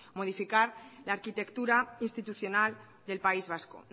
modificar la arquitectura institucional del país vasco